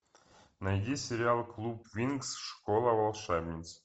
найди сериал клуб винкс школа волшебниц